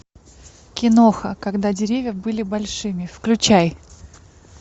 киноха когда деревья были большими включай